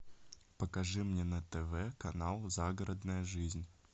покажи мне на тв канал загородная жизнь